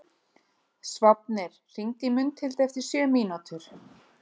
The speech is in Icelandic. Sváfnir, hringdu í Mundhildi eftir sjö mínútur.